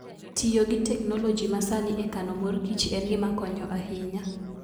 Tiyo gi teknoloji masani e kano mor kich en gima konyo ahinya.